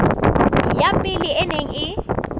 ya pele e neng e